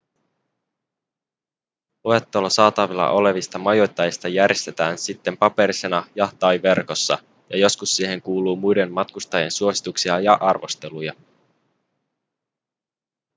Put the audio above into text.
luettelo saatavilla olevista majoittajista järjestetään sitten paperisena ja/tai verkossa ja joskus siihen kuuluu muiden matkustajien suosituksia ja arvosteluja